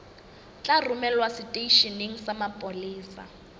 tla romelwa seteisheneng sa mapolesa